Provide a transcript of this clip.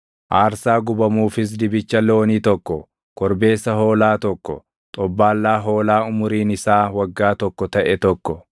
aarsaa gubamuufis dibicha loonii tokko, korbeessa hoolaa tokko, xobbaallaa hoolaa umuriin isaa waggaa tokko taʼe tokko,